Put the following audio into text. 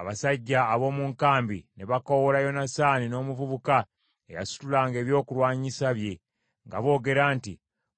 Abasajja ab’omu nkambi ne bakoowoola Yonasaani n’omuvubuka eyasitulanga ebyokulwanyisa bye nga boogera nti,